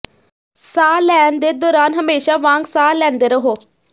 ਸਾਹ ਲੈਣ ਦੇ ਦੌਰਾਨ ਹਮੇਸ਼ਾਂ ਵਾਂਗ ਸਾਹ ਲੈਂਦੇ ਰਹੋ